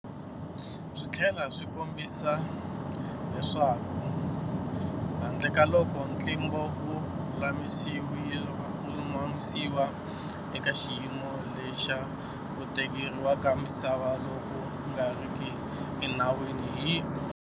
Swi tlhela swi kombisa le swaku handlekaloko ntlimbo wu lulamisiwa, eka xiyimo lexa ku tekeriwa ka misava loku nga riki enawini hi.